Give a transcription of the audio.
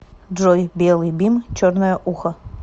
джой белый бим черное ухо